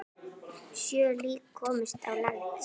Sjö lík komust á land.